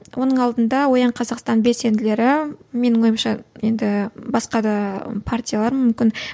оның алдында оян қазақстан белсенділері менің ойымша енді басқа да партиялар мүмкін